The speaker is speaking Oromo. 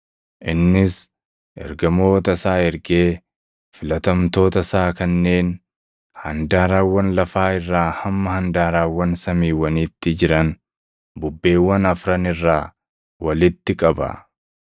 Innis Ergamoota isaa ergee filatamtoota isaa kanneen handaarawwan lafaa irraa hamma handaarawwan samiiwwaniitti jiran bubbeewwan afran irraa walitti qaba.